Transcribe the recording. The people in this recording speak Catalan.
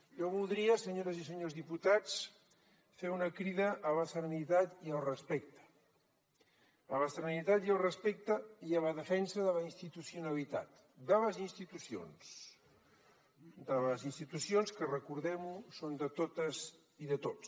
jo voldria senyores i senyors diputats fer una crida a la serenitat i al respecte i a la defensa de la institucionalitzat de les institucions que recordem ho són de totes i de tots